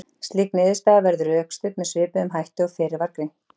Slík niðurstaða verður rökstudd með svipuðum hætti og fyrr var frá greint.